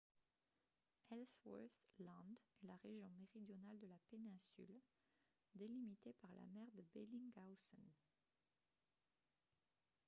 ellsworth land est la région méridionale de la péninsule délimitée par la mer de bellingshausen